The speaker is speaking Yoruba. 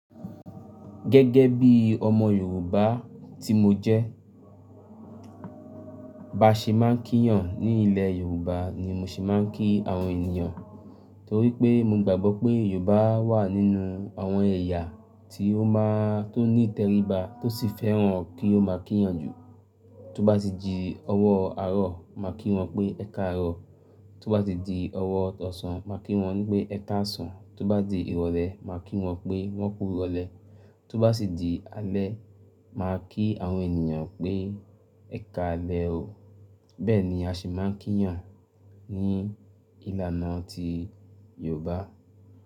Gẹ́gẹ́ bí ọmọ Yorùbá tí mo jẹ́, bá ṣe máa ń kí yan ní ilẹ̀ Yorùbá ni mo ṣe máa ń kí àwọn ènìyàn. Torí pé mo gbàgbọ́ pé Yorùbá wà nínú àwọn ẹ̀yà tí ó máa tó ní tẹríba tó sì fẹ́ràn kí ó máa kí yan jù. Tó bá ti di ọwọ́ àárọ̀ máa kí wọn pé "ẹkaàárọ̀", tó bá ti di ọwọ́ ọ̀sán máa kí wọn pé "ẹkaàsán", tó bá di ìrọ̀lẹ́ máa kí wọn pé "wọ́n kú irọ̀lẹ́", tó bá ti di alẹ́ máa kí àwọn ènìyàn pé "ẹkaalẹ o". Bẹ́ẹ̀ ni a ṣe máa ń kí yan ní ìlànà ti Yorùbá.